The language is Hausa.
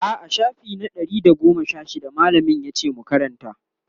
a'a shafi na Ɗari da goma Sha shida mallamin yace mu Karanta